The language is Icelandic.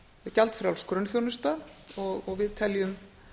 gjaldfrjáls grunnþjónusta og við teljum